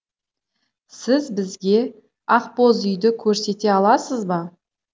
сіз бізге ақбозүйді көрсете аласыз ба